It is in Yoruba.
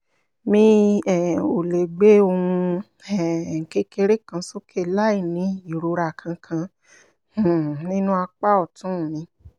mi um ò lè gbé ohun um kékeré kan sókè láìní ìrora kankan um nínú apá ọ̀tún mi